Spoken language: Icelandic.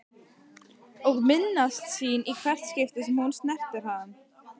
Og minnast sín í hvert skipti sem hún snerti hann.